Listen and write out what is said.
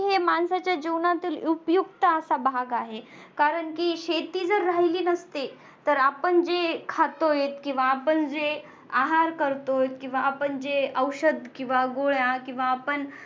हे माणसाच्या जीवनातील उपयुक्त असा भाग आहे कारण की शेती जर राहिली नसती तर आपण जे खातोय किंवा आपण जे आहार करतोय किंवा आपण औषध किंवा गोळ्या किंवा